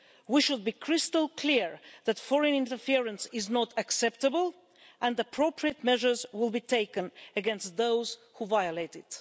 We should be crystal clear that foreign interference is not acceptable and that appropriate measures will be taken against those who violate it.